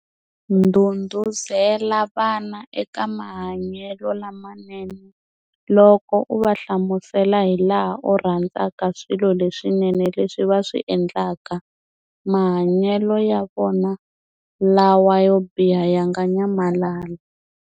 Ndhundhuzela vana eka mahanyelo lamanene loko u va hlamusela hilaha u rhandzaka swilo leswinene leswi va swi endlaka, mahanyelo ya vona lawa yo biha ya nga nyamalala.